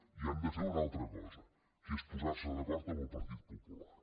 i han de fer una altra cosa que és posarse d’acord amb el partit popular